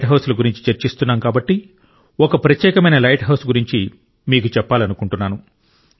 light హౌజుల గురించి చర్చిస్తున్నాం కాబట్టి ఒక ప్రత్యేకమైన లైట్ హౌస్ గురించి కూడా మీకు చెప్పాలనుకుంటున్నాను